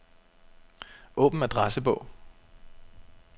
Åbn adressebog.